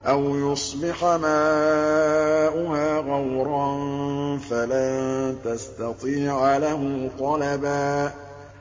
أَوْ يُصْبِحَ مَاؤُهَا غَوْرًا فَلَن تَسْتَطِيعَ لَهُ طَلَبًا